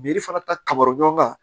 fana ta karɔ ɲɔgɔn ka